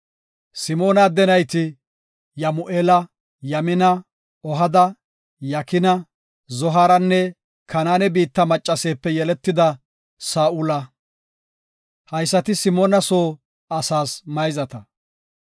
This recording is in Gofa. Simoona adde nayti, Yamu7eela, Yamina, Ohada, Yakina, Zohaaranne Kanaane biitta maccaseepe yeletida Saa7ula. Haysati Simoona soo asaas mayzata.